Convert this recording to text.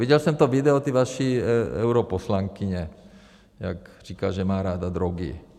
Viděl jsem to video té vaší europoslankyně, jak říká, že má ráda drogy.